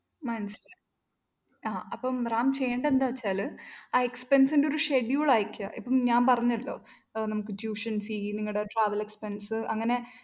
മനസ്സിലായി ആഹ് ഇപ്പം റാം ചെയ്യേണ്ടന്താച്ചാല് ആ expense ന്റെ ഒരു schedule അയക്കുക ആഹ് ഇപ്പം ഞാന്‍പറഞ്ഞല്ലോ നമുക്ക് tuitionfee travelexpence അങ്ങനെ